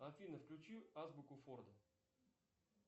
афина включи азбуку форда